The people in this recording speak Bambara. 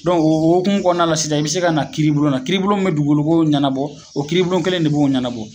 Dɔnku o okumu kɔnɔna na la sisan i be se ka na kiiribulonna kiiribulon min be dugukoloko ɲɛnabɔ o kiiribu bulon kelen de b'o ɲɛnabɔ